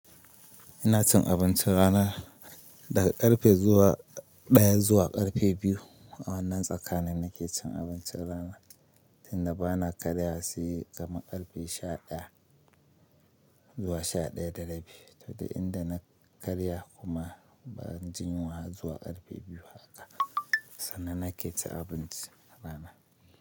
Ina cin abincin rana daga karfe daya zuwa karfe biyu. A wannan tsakanin nake cin abincin rana, tinda bana karya sai kamar karfe sha daya zuwa sha daya da rabi. To dai inda na karya kuma ban jinyewa zuwa karfe biyu haka, sannan nake cin abinci rana.